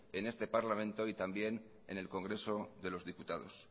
en este parlamento y también en el congreso de los diputados